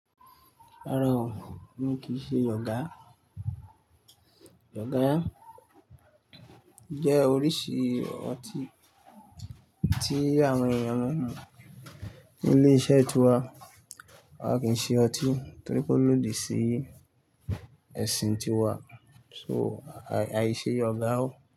Rárá o, mi kì í ṣe ọ̀gá. Ọ̀gá jẹ́ oríṣi ọtí tí àwọn èèyàn máa ń mu ní ilé-iṣẹ́ tíwa. A kì í ṣe ọtí torí pé ó lòdì sí ẹ̀sìn tíwa, so aìṣe ọ̀gá o.